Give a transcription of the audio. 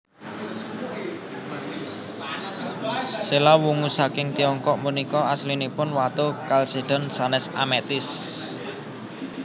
Séla wungu saking tiongkok punika aslinipun watu kalsédon sanès ametis